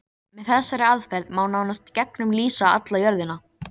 Grettir mikið karlmenni, svona rýr og rindilslegur.